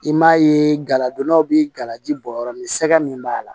I m'a ye galadonnaw bɛ gala ji bɔ yɔrɔ min sɛgɛn min b'a la